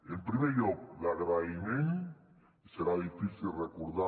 en primer lloc l’agraïment serà difícil recordar